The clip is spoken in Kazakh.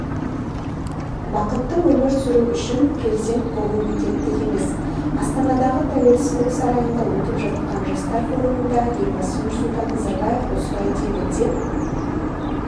бақытты өмір сүру үшін президент болу міндетті емес астанадағы тәуелсіздік сарайында өтіп жатқан жастар форумында елбасы нұрсұлтан назарбаев осылай деді деп